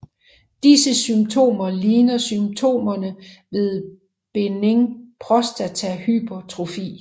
Disse symptomer ligner symptomerne ved benign prostatahypertrofi